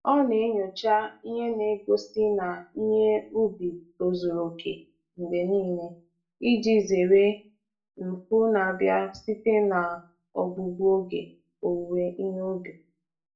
Ọ na-enyocha ihe na-egosi na ihe ubi tozuru oke mgbe niile iji zere mfu n'abia site na ogbugbu oge owuwe ihe ubi.